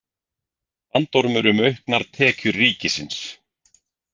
Bandormur um auknar tekjur ríkisins